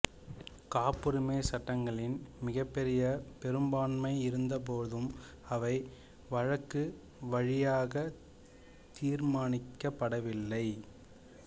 காப்புரிமை சட்டங்களின் மிகப்பெரிய பெரும்பான்மை இருந்தபோதும் அவை வழக்கு வழியாகக் தீர்மானிக்கப்படவில்லை